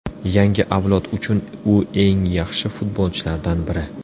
Yangi avlod uchun u eng yaxshi futbolchilardan biri.